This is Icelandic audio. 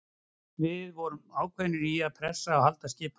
Við vorum ákveðnir í að pressa og halda skipulagi.